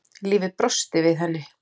Lífið brosti við henni.